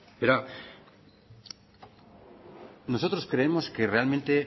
verá nosotros creemos que realmente